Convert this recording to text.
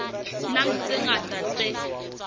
nang le tse ngata tse